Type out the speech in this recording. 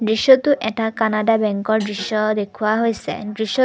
দৃশ্যটো এটা কানাডা বেঙ্কৰ দৃশ্য দেখুওৱা হৈছে দৃশ্য--